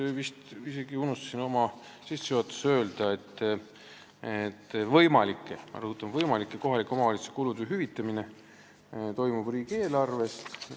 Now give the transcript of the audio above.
Ma vist isegi unustasin oma sissejuhatuses öelda, et kohalike omavalitsuste võimalike – ma rõhutan, võimalike – kulude hüvitamine toimub riigieelarvest.